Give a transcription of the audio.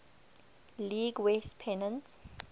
league west pennant